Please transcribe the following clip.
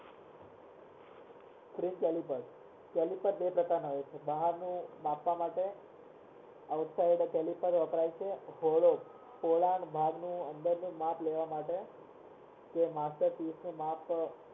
બે પ્રકાર ના હોય છે બહારનું માપવા માટે outside વપરાય છે અંદર નું માપ લેવા માટે